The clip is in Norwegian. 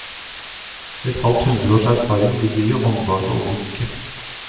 Et halvt hundreårs erfaring ligger i håndlaget og blikket.